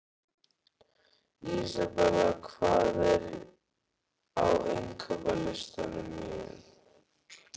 Isabella, hvað er á innkaupalistanum mínum?